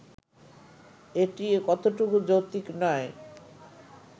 এটি কতটুকু যৌক্তিক নয়